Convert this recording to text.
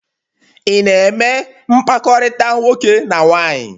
Ị na-eme mkpakọrịta nwoke na nwaanyị?